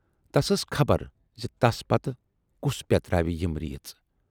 تَس ٲس خبر زِ تَس پتہٕ کُس پٮ۪تراوِ یِم ریٖژ۔